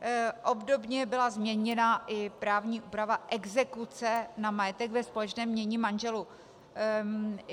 Obdobně byla změněna i právní úprava exekuce na majetek ve společném jmění manželů.